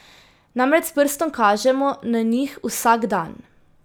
Namreč s prstom kažemo na njih vsak dan.